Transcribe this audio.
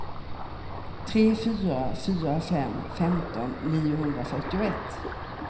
tre fyra fyra fem femton niohundrafyrtioett